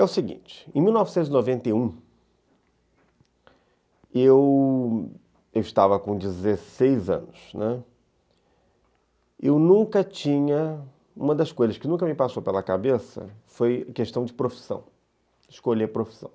É o seguinte, em ml novecentos e noventa e um, eu estava com dezesseis anos, né, eu nunca tinha, uma das coisas que nunca me passou pela cabeça foi a questão de profissão, escolher profissão.